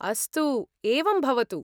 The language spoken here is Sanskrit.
अस्तु, एवं भवतु।